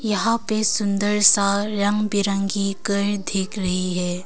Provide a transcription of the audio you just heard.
यहां पे सुन्दर सा रंग बिरंगी घर दीख रही है।